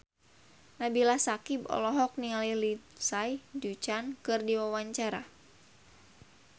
Nabila Syakieb olohok ningali Lindsay Ducan keur diwawancara